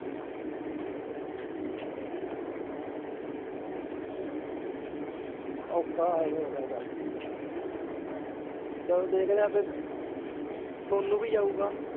ਔਖਾ ਹੋ ਜੇਗਾ ਥੋੜਾ ਜੇਹਾ ਜਾਕੇ ਚੱਲ ਦੇਖਦੇ ਆ ਫੇਰ ਸੋਨੂ ਵੀ ਜਾਊਗਾ।